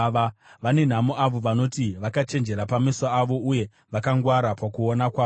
Vane nhamo avo vanoti vakachenjera pameso avo, uye vakangwara pakuona kwavo.